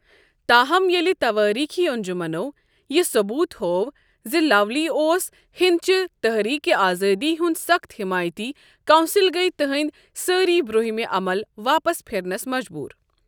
تاہم، ییلہِ توٲریخی انجُمنو یہِ ثبوٗت ہوو زِ لاولی اوس ہِند چہِ تحریقہِ آزٲدی ہُند سخت حیمایتی ، کونسل گیہ تہندِ سٲری برٛونٚہِم عمل واپس پھِرنس مجبوٗر۔